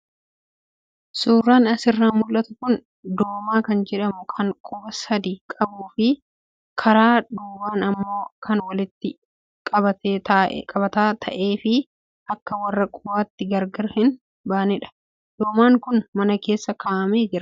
Suuraan asirraa mul'atu kun doomaa kan jedhamu kan quba sadii qabuu fi karaa duubaa immoo kan walitti qabataa ta'ee fi akka warra qubaatti gargar hin baanedha. Doomaan kun mana keessa kaa'amee jira.